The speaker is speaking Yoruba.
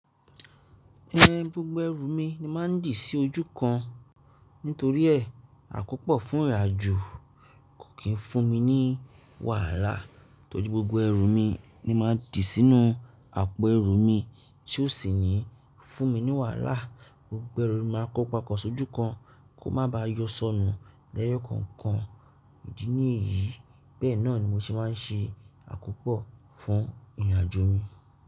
Ẹn, gbogbo ẹrù mi ni màá n dí sí ojú kan nítorí ẹ, àkópò fún ìrìnàjò kò kí ń fún mi ní wàhálà torí gbogbo ẹrù mi ni màá dì sínú àpò ẹrù mi tí ó sì níí fún mi ní wàhálà. Gbogbo ẹrù mi máa kópapò sójú kan kó má bá yọ sọnù lẹ́yọ̀ kankan ìdí ní èyí. Bẹ́ẹ̀ náà ni mo se máa ń ṣe àkópò fún ìrìnàjò mi.